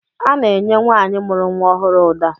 Ana-enye nwaanyị mụrụ nwa ọhụrụ ụda